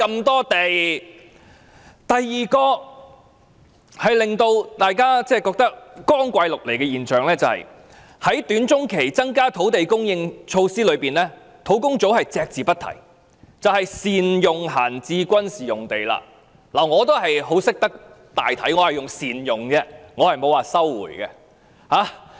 第二個令人覺得光怪陸離的現象是，在短中期增加土地供應措施中，土地供應專責小組隻字不提的選項，便是善用閒置軍事用地。我也很懂得大體，我說"善用"而不是說"收回"。